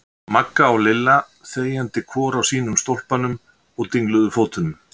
Magga og Lilla þegjandi hvor á sínum stólpanum og dingluðu fótunum.